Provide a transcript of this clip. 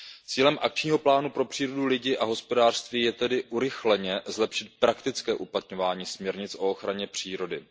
Cílem akčního plánu pro přírodu, lidi a hospodářství je tedy urychleně zlepšit praktické uplatňování směrnic o ochraně přírody.